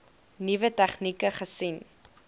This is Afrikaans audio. nuwe tegnieke gesien